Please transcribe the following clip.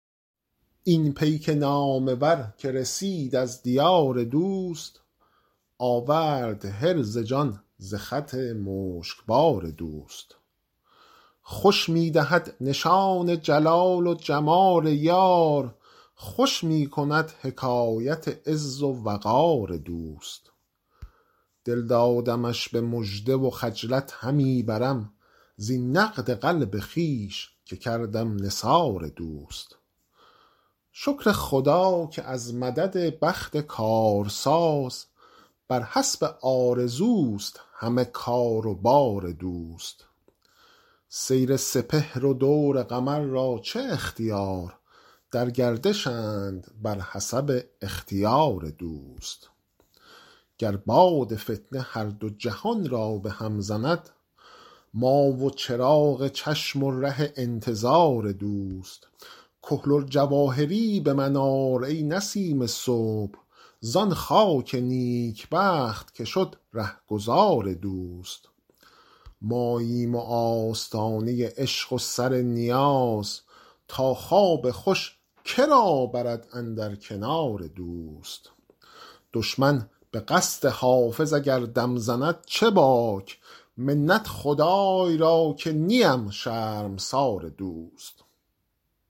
آن پیک نامور که رسید از دیار دوست آورد حرز جان ز خط مشکبار دوست خوش می دهد نشان جلال و جمال یار خوش می کند حکایت عز و وقار دوست دل دادمش به مژده و خجلت همی برم زین نقد قلب خویش که کردم نثار دوست شکر خدا که از مدد بخت کارساز بر حسب آرزوست همه کار و بار دوست سیر سپهر و دور قمر را چه اختیار در گردشند بر حسب اختیار دوست گر باد فتنه هر دو جهان را به هم زند ما و چراغ چشم و ره انتظار دوست کحل الجواهری به من آر ای نسیم صبح زان خاک نیکبخت که شد رهگذار دوست ماییم و آستانه عشق و سر نیاز تا خواب خوش که را برد اندر کنار دوست دشمن به قصد حافظ اگر دم زند چه باک منت خدای را که نیم شرمسار دوست